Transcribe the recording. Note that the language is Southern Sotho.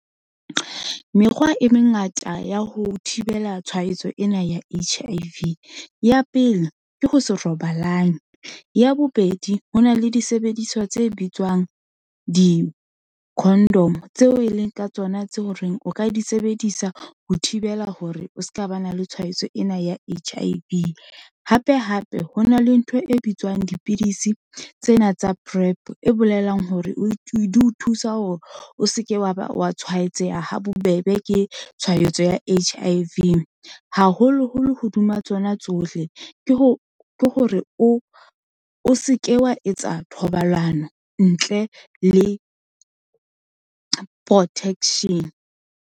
Mekgwa e mengata ya ho thibela tshwaetso ena ya H_I _V. Ya pele ke ho se robalang, ya bobedi ho na le disebediswa tse bitswang di-condom-o, tseo e leng ka tsona tse ho reng o ka disebedisa, ho thibela hore o seka ba na le tshwaetso ena ya H_I_V. Hape, hape ho na le ntho e bitswang dipidisi, tsena tsa PrEP, e bolelang hore di o thusa hore o seke wa ba wa tshwaetseha ha bobebe, ke tshwaetso ya H_I_V, haholoholo hodima tsona tsohle, ke ho hore o seke wa etsa thobalano ntle le protection.